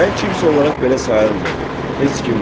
Mən kimsə olaraq belə sayılmırdım, heç kimdim.